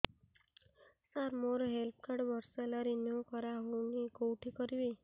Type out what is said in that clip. ସାର ମୋର health card ବର୍ଷେ ହେଲା ରିନିଓ କରା ହଉନି କଉଠି କରିବି